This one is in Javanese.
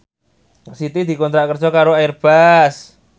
Siti dikontrak kerja karo Airbus